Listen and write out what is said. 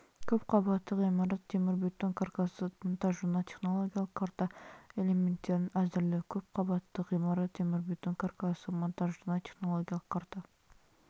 көп қабатты ғимарат темірбетон каркасы монтажына технологиялық карта элементтерін әзірлеу көп қабатты ғимарат темірбетон каркасы монтажына технологиялық карта